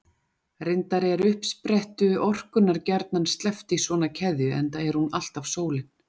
Reyndar er uppsprettu orkunnar gjarnan sleppt í svona keðju, enda er hún alltaf sólin.